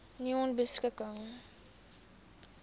nonebeskikking